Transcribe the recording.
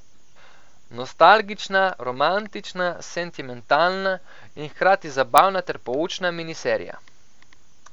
Nostalgična, romantična, sentimentalna in hkrati zabavna ter poučna miniserija.